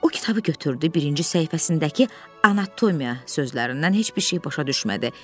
O kitabı götürdü, birinci səhifəsindəki anatomiya sözlərindən heç bir şey başa düşmədi.